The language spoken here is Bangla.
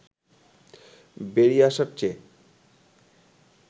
বেড়িয়ে আসার চেয়ে